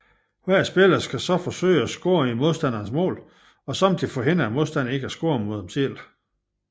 Hver spiller skal så forsøge at score i modstanderens mål og samtidig forhindre modstanderen i at score mod en selv